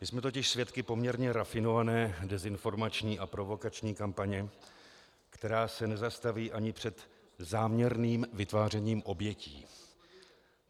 My jsme totiž svědky poměrně rafinované dezinformační a provokační kampaně, která se nezastaví ani před záměrným vytvářením obětí.